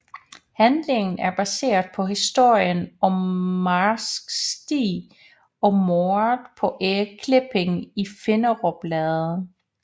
Handlingen er baseret på historien om Marsk Stig og mordet på Erik Klipping i Finderup Lade